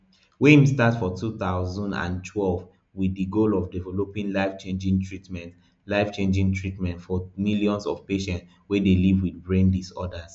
wey im start for two thousand and twelve wit di goal of developing lifechanging treatments lifechanging treatments for millions of patients wey dey live wit brain disorders